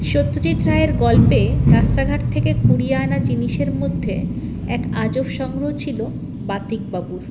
সত্যজিৎ রায়ের গল্পে রাস্তাঘাট থেকে কুড়িয়ে আনা জিনিসের মধ্যে এক আজব সংগ্রহ ছিলো বাতিক বাবুর